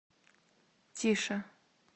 тише